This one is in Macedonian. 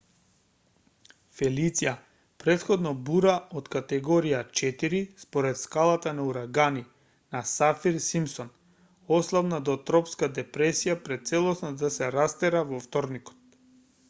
фелиција претходно бура од категорија 4 според скалата на урагани на сафир-симпсон ослабна до тропска депресија пред целосно да се растера во вторникот